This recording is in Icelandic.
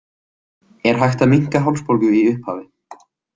Er hægt að minnka hálsbólgu í upphafi.